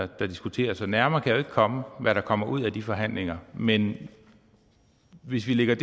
diskuteres nærmere kan jeg jo ikke komme hvad der kommer ud af de forhandlinger men hvis vi lægger